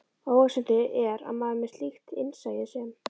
Óhugsandi er að maður með slíkt innsæi sem